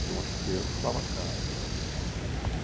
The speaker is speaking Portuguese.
Porque uma chuteira custava caro.